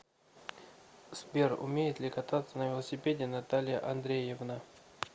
сбер умеет ли кататься на велосипеде наталья андреевна